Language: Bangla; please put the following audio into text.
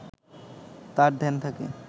তার ধ্যান থাকে